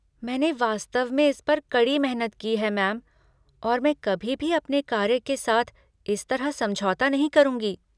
मैंने वास्तव में इस पर कड़ी मेहनत की है, मैम, और मैं कभी भी अपने कार्य के साथ इस तरह समझौता नहीं करूँगी।